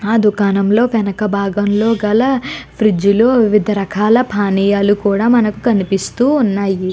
ఆ దుకాణంలో వెనక భాగంలో గల ఫ్రిజ్లు వివిధ రకాల పానీయాలు కూడా మనకు కనిపిస్తూ ఉన్నాయి.